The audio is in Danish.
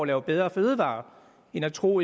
lave bedre fødevarer end at tro